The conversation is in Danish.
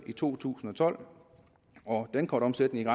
i to tusind og tolv og dankortomsætningen